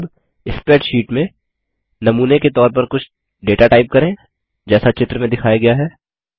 अब स्प्रैडशीट में नमूने के तौर कुछ डेटा टाइप करें जैसा चित्र में दिखाया गया है